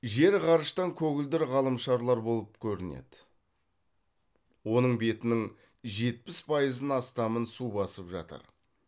жер ғарыштан көгілдір ғаламшарлар болып көрінеді оның бетінің жетпіс пайызын астамын су басып жатыр